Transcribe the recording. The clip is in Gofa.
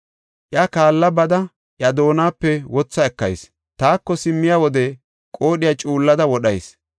iya kaalla bada iya doonape wotha ekayis. Taako simmiya wode qoodhiya cuullada wodhayis.